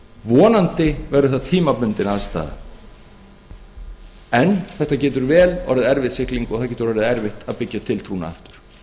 vonandi verður það tímabundin aðstaða en það getur orðið erfið sigling og það getur orðið erfitt að byggja tiltrúna aftur